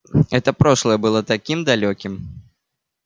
это прошлое было таким далёким